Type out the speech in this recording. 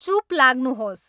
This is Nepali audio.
चुप लाग्नुुहोस्